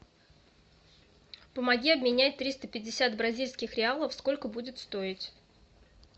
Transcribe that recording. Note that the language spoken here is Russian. помоги обменять триста пятьдесят бразильских реалов сколько будет стоить